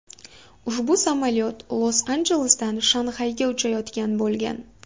Ushbu samolyot Los-Anjelesdan Shanxayga uchayotgan bo‘lgan.